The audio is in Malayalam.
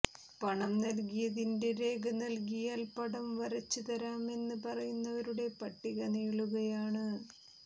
പണം നൽകിയതിന്റെ രേഖ നൽകിയാൽ പടം വരച്ച് തരാമെന്ന് പറയുന്നവരുടെ പട്ടിക നീളുകയാണ്